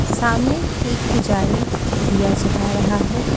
सामने एक पुजारी दिया जला रहा है।